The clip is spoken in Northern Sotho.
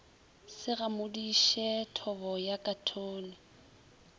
se gamodiše thobo ya khathone